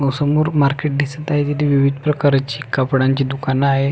समोर मार्केट दिसत आहे तिथे विविध प्रकारची कपड्यांची दुकान आहे.